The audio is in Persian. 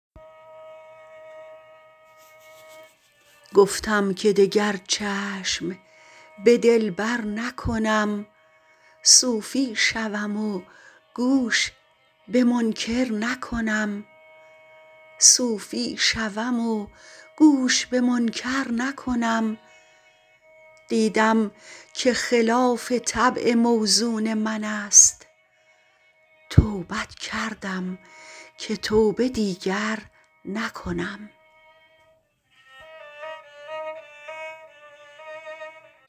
گفتم که دگر چشم به دلبر نکنم صوفی شوم و گوش به منکر نکنم دیدم که خلاف طبع موزون من است توبت کردم که توبه دیگر نکنم